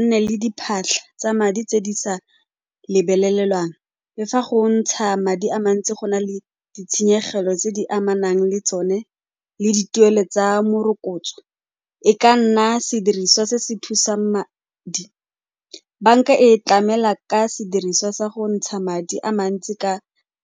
nne le diphatlha tsa madi tse di sa lebelelwang. Le fa go ntsha madi a mantsi go na le ditshenyegelo tse di amanang le tsone le dituelo tsa morokotso, e ka nna sediriswa se se thusang madi. Banka e tlamela ka sediriswa sa go ntsha madi a mantsi ka